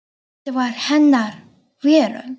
Þetta var hennar veröld.